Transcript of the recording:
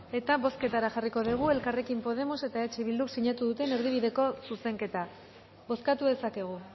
eta bozketara jarriko degu elkarrekin podemos eta eh bilduk sinatu duten erdibideko zuzenketa bozkatu dezakegu